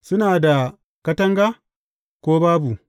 Suna da katanga, ko babu?